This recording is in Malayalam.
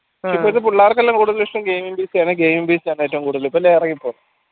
ഇപ്പോഴ്ത്ത പിള്ളർക്ക് കൂടുതൽ ഇഷ്ട്ടം game game ഏറ്റവും കൂടുതൽ ഇപ്പൊ